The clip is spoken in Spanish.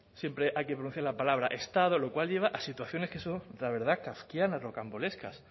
siempre hay que pronunciar la palabra estado lo cual lleva a situaciones que son la verdad kafkianas rocambolescas